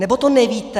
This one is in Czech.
Nebo to nevíte?